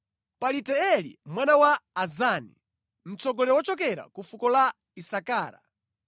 Palitieli mwana wa Azani, mtsogoleri wochokera ku fuko la Isakara,